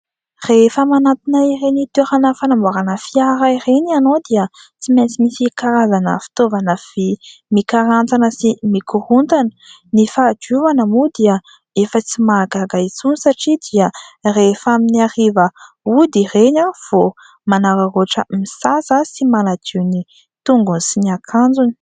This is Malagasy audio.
Rehefa manantona ireny toerana fanamboarana fiara ireny ianao dia tsy maintsy misy karazana fitaovana vy mikarantsana sy mikorontana. Ny fahadiovana moa dia efa tsy mahagaga intsony satria dia rehefa amin'ny hariva ody ireny vo manararoatra misasa sy manadio ny tongony sy ny akanjony.